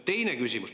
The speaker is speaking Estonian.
Teine küsimus.